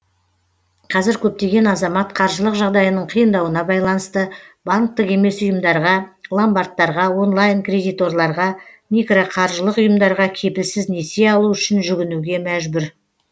қазір көптеген азамат қаржылық жағдайының қиындауына байланысты банктік емес ұйымдарға ломбардтарға онлайн кредиторларға микроқаржылық ұйымдарға кепілсіз несие алу үшін жүгінуге мәжбүр